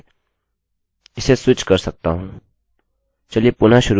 किन्तु मैं क्या कर सकता हूँ कि मैं दूसरे प्रकार से इसे स्विच कर सकता हूँ